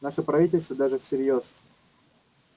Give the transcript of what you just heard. наше правительство даже всерьёз